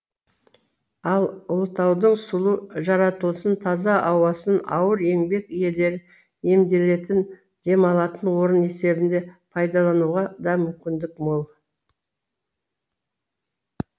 ал ұлытаудың сұлу жаратылысын таза ауасын ауыр еңбек иелері емделетін демалатын орын есебінде пайдалануға да мүмкіндік мол